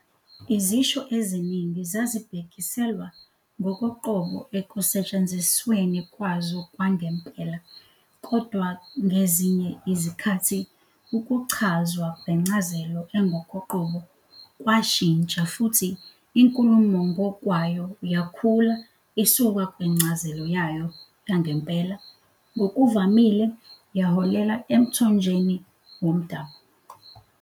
Izisho eziningi zazibhekiselwa ngokoqobo ekusetshenzisweni kwazo kwamgempela, kodwa ngezinye izikhathi ukuchazwa kwencazelo engokoqobo kwashintsha futhi inkulumo ngokwayo yakhula isuka kwincazelo yayo yangempela - ngokuvamile yaholela emthonjeni womdabu.